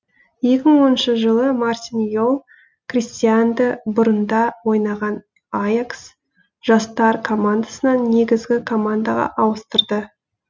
екі мың оныншы жылы мартин йол кристианды бұрында ойнаған аякс жастар командасынан негізгі командаға ауыстырды